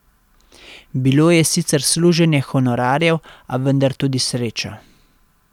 Bilo je sicer služenje honorarjev, a vendar tudi sreča.